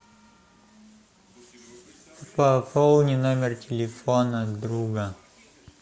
пополни номер телефона друга